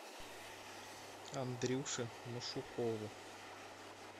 андрюше машукову